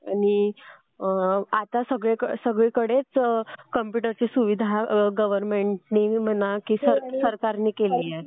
आणि आता सगळीकडेच कॉम्प्युटरची सुविधा गव्हर्नमेंटने म्हणा किंवा सरकारने केलेली आहे.